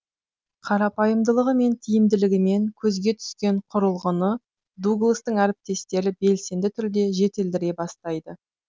қарапайымдылығы мен тиімділігімен көзге түскен құрылғыны дугластың әріптестері белсенді түрде жетілдіре бастайды